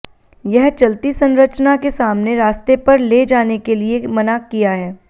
यह चलती संरचना के सामने रास्ते पर ले जाने के लिए मना किया है